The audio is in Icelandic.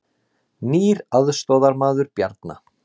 Nýr aðstoðarmaður Bjarna